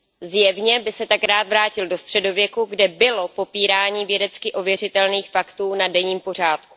Zjevně by se tak rád vrátil do středověku, kde bylo popírání vědecky ověřitelných faktů na denním pořádku.